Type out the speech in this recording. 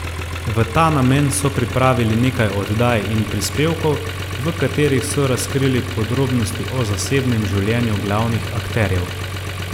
V ta namen so pripravili nekaj oddaj in prispevkov, v katerih so razkrili podrobnosti o zasebnem življenju glavnih akterjev.